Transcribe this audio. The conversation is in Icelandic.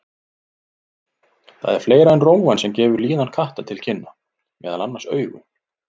Það er fleira en rófan sem gefur líðan katta til kynna, meðal annars augun.